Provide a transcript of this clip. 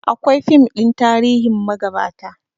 Akwai fim ɗin tarihin magabata